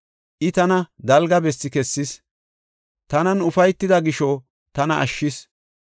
I tana dalga bessi kessis; tanan ufaytida gisho tana ashshis.